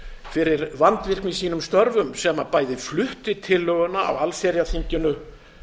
fyrir vandvirkni i sínum störfum sem bæði flutti tillöguna á allsherjarþinginu